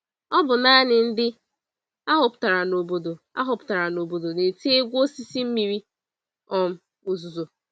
Ọbụ nanị ndị ahọpụtara n'obodo ahọpụtara n'obodo na-eti egwu osisi mmiri um ozuzo